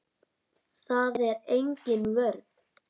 Það er engin vörn.